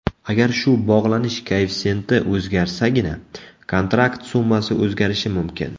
Agar shu bog‘lanish koeffitsiyenti o‘zgarsagina, kontrakt summasi o‘zgarishi mumkin.